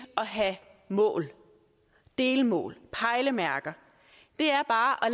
at have mål delmål pejlemærker er bare